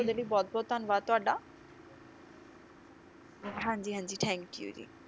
ਉਹਦੇ ਲਈ ਬਹੁਤ ਬਹੁਤ ਧੰਨਵਾਦ ਤੁਹਾਡਾ ਹਾਂਜੀ ਹਾਂਜੀ thank you ਜੀ